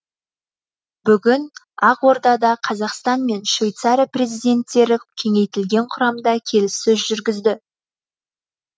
бүгін ақордада қазақстан мен швейцария президенттері кеңейтілген құрамда келіссөз жүргізді